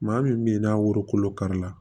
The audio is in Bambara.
Maa min bɛ ye n'a woro kolo kari la